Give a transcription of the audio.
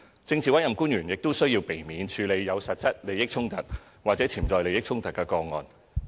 政治委任官員亦須避免處理有實際利益衝突或潛在利益衝突的個案。